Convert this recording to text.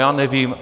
Já nevím.